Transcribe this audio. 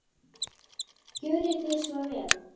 Gjörið þið svo vel.